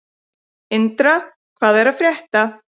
Indra, hvað er að frétta?